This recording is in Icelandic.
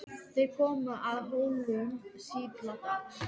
Þeir komu að Hólum síðla dags.